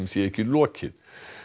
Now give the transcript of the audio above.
sé ekki lokið